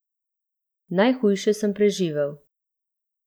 Najhujše sem preživel.